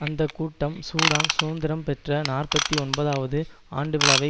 அந்த கூட்டம் சூடான் சுதந்திரம் பெற்ற நாற்பத்தி ஒன்பதுவது ஆண்டுவிழாவை